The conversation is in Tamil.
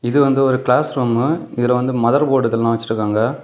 இது வந்து ஒரு கிளாஸ் ரூம்மு இதுல வந்து மதர்போர்டு இதெல்லா வச்சிருக்காங்க.